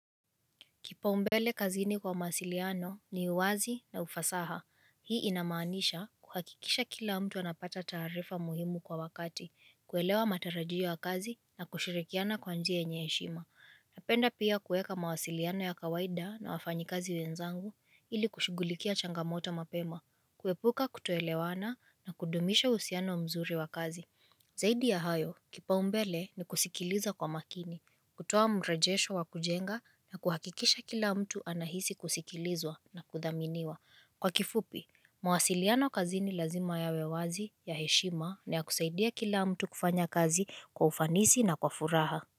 Kipaumbele kazini kwa mawasiliano ni uwazi na ufasaha. Hii inamanisha kuhakikisha kila mtu anapata taarifa muhimu kwa wakati, kuelewa matarajio ya kazi na kushirikiana kwa njia yenye heshima. Napenda pia kueka mawasiliano ya kawaida na wafanyikazi wenzangu ili kushughulikia changamoto mapema, kuepuka kutoelewana na kudumisha uhusiano mzuri wa kazi. Zaidi ya hayo, kipaumbele ni kusikiliza kwa makini, kutoa mrejesho wa kujenga na kuhakikisha kila mtu anahisi kusikilizwa na kudhaminiwa. Kwa kifupi, mawasiliano kazi lazima yawe wazi ya heshima na ya kusaidia kila mtu kufanya kazi kwa ufanisi na kwa furaha.